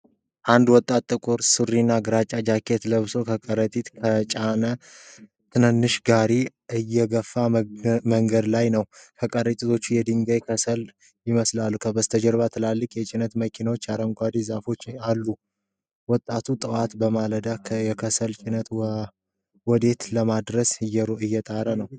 አንድ ወጣት ጥቁር ሱሪና ግራጫ ጃኬት ለብሶ ከረጢት የጫነ ተንቀሳቃሽ ጋሪ እየገፋ መንገድ ላይ ነው። ከረጢቶቹ የድንጋይ ከሰል ይመስላሉ፣ ከበስተጀርባ ትላልቅ የጭነት መኪኖችና አረንጓዴ ዛፎች አሉ፤ ወጣቱ ጠዋት በማለዳ የከሰል ጭነቱን ወዴት ለማድረስ እየጣረ ነው?